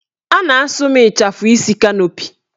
A na-asụ m ịchafụ isi kanopi